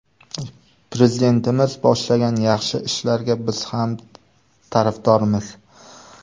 Prezidentimiz boshlagan yaxshi ishlarga biz ham tarafdormiz.